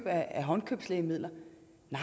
ikke med